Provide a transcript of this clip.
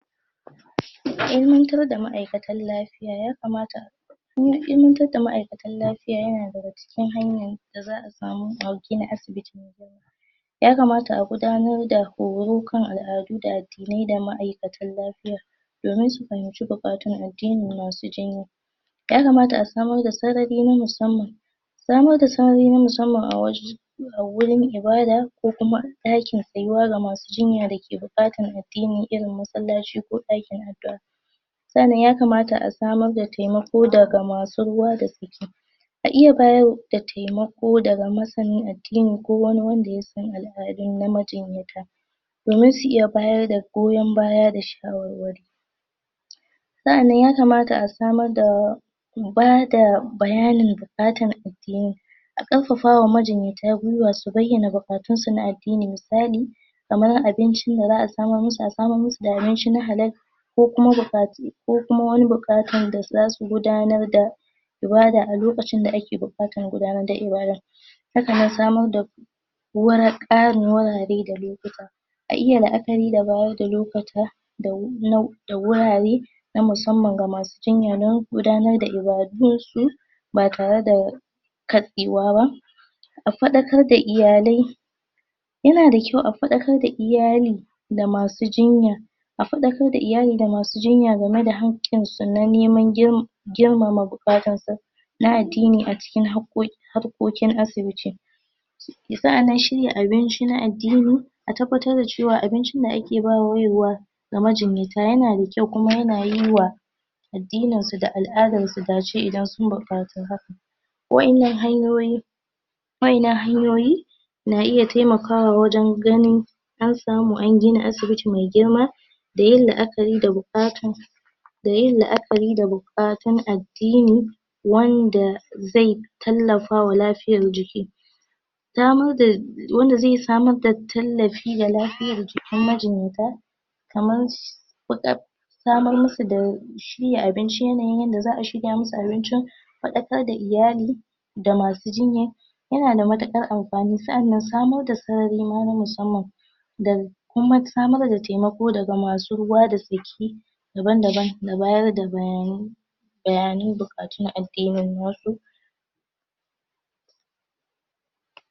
ilimantar da ma'aikatan lafiya ya kamata kuma ilimantar da ma'aikatan lafiya yana daga cikin hanya da za'a samu sauki na asibiti me kyau ya kamata a gudanar da horo kan al'adu da addinai da ma'aikatan lafiya domin su fahimci buƙatun addinin masu jinya ya kamata a samar da sarari na musamman samar da sarari na musamman a waje a gurin ibada ko kuma a ɗakin tsayuwa ga masu jinya dake buƙatar addini irin masallaci ko ɗakin addu'a sannan ya kamata a samar da taimiko daga masu ruwa da tsaki a iya badar taimako daga masanin addini ko wani wanda yasan al'adu na majinyata domin su iya bada goyon baya da shawarwari sa'an nan ya kamata a samar da bada buƙatar bayanin addini a ƙarfafawa majinyata gwiwa su bayyana duƙatun su na addini misali kamar abincin da za'a samar musu a samar musu da abinci na halal ko kuma buƙatu ko kuma wani buƙatan da zasu gudanar da ibada a lokacin da ake buƙatar gudanar da ibada haka nan samar da wani ƙarin gurare da lokuta a iya la'akari da bayar da lokuta da da wurare na musamman ga masu jinya don gudanar da ibadun su ba tare da katsewaba a faɗakar da iyalai yana da kyau a faɗakar da iyali da masu jinya a faakar da iyali da masu jinya game da haƙƙinsu na neman girmama buƙatan su na addini a cikin haƙƙoƙin harkokin asibiti sa'annan shirya abinci na addini a tabbatar da cewa abincin da ake bayarwa yanada kyau kuma yana yiwa addinin su da al'adar su gashi idan sun buƙaci haka waƴannan hanyoyi waƴannan hanyoyi na iya taimakawa wajan ganin an samu an gina asibiti me girma da yin la'akari da buƙata da yin la'akari da buƙatun addini wanda ze tallafawa lafiyar jiki damar da wanda ze samar da tallafi da lafiyar jikin majinyata kamar samar musu da abinci yanayin yanda za'a shirya musu abincin faɗakar da iyali da masu jinya yana da matuƙar amfani sa'annan samar da sarari ma na musamman da kuma samar da taimako daga masu ruwa da tsaki daban daban ba bayar da bayanai bayanan buƙatun addinin wasu